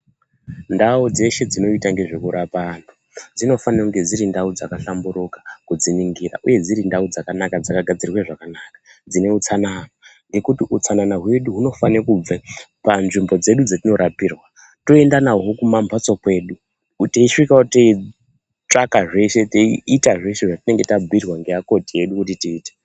Ndau dzeshe dzinoita nezvekurapa antu dzinofanire kunge dziri ndau dzakahlamburuka kudziningira uye dziri ndau dzakanaka dzakagadzirwe zvakanaka, dzine utsanana, ngekuti utsanana hwedu hunofane kubve panzvimbo dzedu dzetinorapirwaa toenda nahwo kumambatso kwedu kuti tiisvikavo teii-tsvaka zveshe, tiita zveshe zvatinenge tabhuyirwaa ngevakoti vedu kuti tiite.